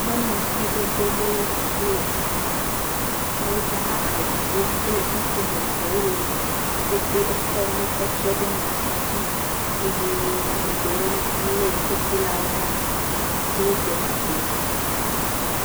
Nyɔnuvi gbogbo ɖewo wole asime. Efi mi wodzrana awuwo kple kuku vovovowo le. Wo pete wokɔ nu kɔ tsyɔ ɖe ŋɔti dzi eye eɖewo lé kukulawo ɖe asi na si be wogbɔ ƒlee.